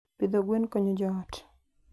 Pidho gwen konyo joot.